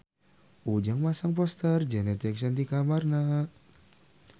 Ujang masang poster Janet Jackson di kamarna